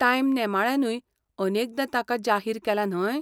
Time नेमाळ्यानूय अनेकदां ताका जाहीर केला, न्हय?